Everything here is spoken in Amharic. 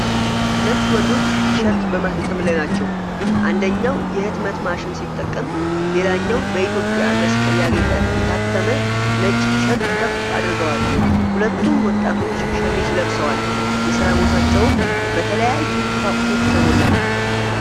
ሁለት ወንዶች ቲሸርት በማተም ላይ ናቸው። አንደኛው የህትመት ማሽን ሲጠቀም፣ ሌላኛው በኢትዮጵያ መስቀል ያጌጠ የታተመ ነጭ ቲሸርት ከፍ አድርገዎል። ሁለቱም ወጣቶች ሸሚዝ ለብሰዋል፤ የሥራ ቦታቸውም በተለያዩ ቁሳቁሶች የተሞላ ነው።